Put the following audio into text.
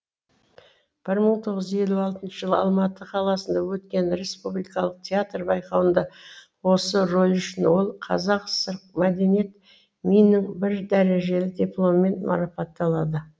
бір мың тоғыз жүз елу алтыншы жылы алматы қаласында өткен республикалық театр байқауында осы рөлі үшін ол қазақ кср і мәдениет миннің бір дәрежелі дипломымен марапатталады